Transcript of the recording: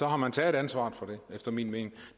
har man taget ansvaret for det efter min mening